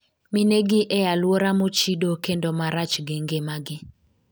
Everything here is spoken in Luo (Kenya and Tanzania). minegi e alwora mochido kendo marach gi ngima gi